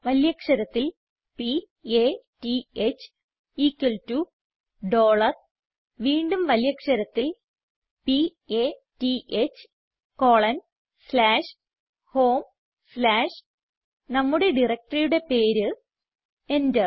വലിയ അക്ഷരത്തിൽ p a t h equal to dollar വീണ്ടും വലിയ അക്ഷരത്തിൽ p a t ഹ് കോളൻ സ്ലാഷ് ഹോം സ്ലാഷ് നമ്മുടെ directoryയുടെ പേര് എന്റർ